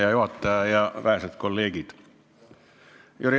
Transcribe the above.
Hea juhataja ja vähesed kolleegid!